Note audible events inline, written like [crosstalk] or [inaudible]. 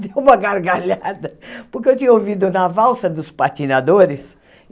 [laughs] Deu uma gargalhada, porque eu tinha ouvido na valsa dos patinadores.